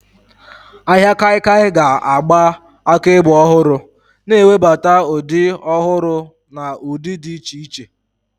Ahịa kaikia ga-agba akaebe ọhụrụ, na-ewebata ụdị ọhụrụ na ụdị dị iche iche.